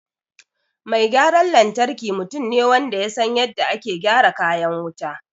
Mai gyaran lantarki mutum ne wanda ya san yadda ake gyara kayan wuta